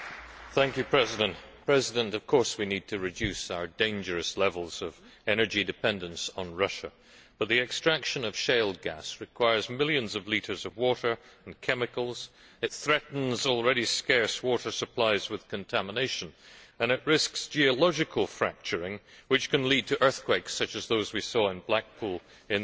Mr President, of course we need to reduce our dangerous levels of energy dependence on Russia, but the extraction of shale gas requires millions of litres of water and chemicals, it threatens already scarce water supplies with contamination and it risks geological fracturing which can lead to earthquakes such as those we saw in Blackpool in the United Kingdom.